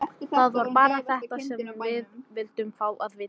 Það var bara þetta sem við vildum fá að vita.